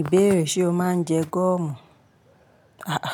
Ìbéèrè: ṣe o máa ń jẹ goọ̀mù? Aà,